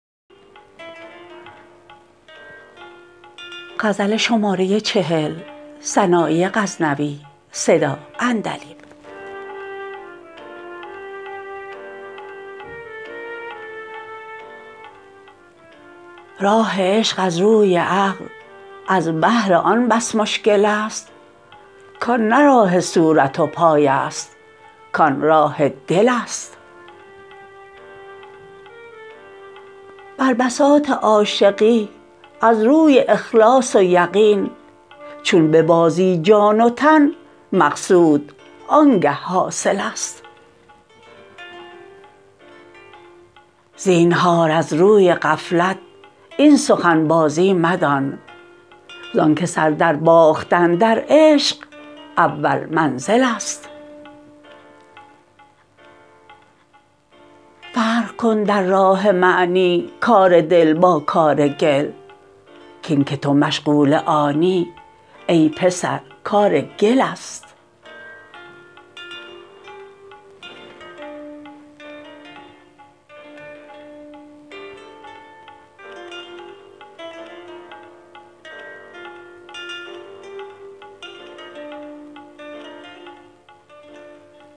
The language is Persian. راه عشق از روی عقل از بهر آن بس مشکل ست کآن نه راه صورت و پای ست کآن راه دل ست بر بساط عاشقی از روی اخلاص و یقین چون ببازی جان و تن مقصود آن گه حاصل ست زینهار از روی غفلت این سخن بازی مدان زان که سر در باختن در عشق اول منزل ست فرق کن در راه معنی کار دل با کار گل کاین که تو مشغول آنی ای پسر کار گل ست